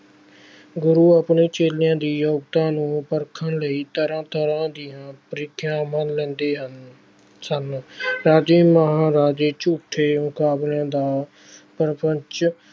ਗੁਰੂ ਆਪਣੇ ਚੇਲਿਆਂ ਦੀ ਯੋਗਤਾ ਨੂੰ ਪਰਖਣ ਲਈ ਤਰ੍ਹਾਂ ਤਰ੍ਹਾਂ ਦੀਆਂ ਪ੍ਰੀਖਿਆਵਾਂ ਲੈਂਦੇ ਹਨ ਸਨ ਰਾਜੇ ਮਹਾਰਾਜੇ ਝੂਠੇ ਮੁਕਾਬਲਿਆਂ ਦਾ ਪ੍ਰਪੰਚ।